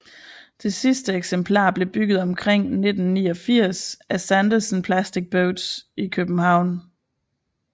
Det sidste eksemplar blev bygget omkring 1989 af Sandersen Plastic Boats i København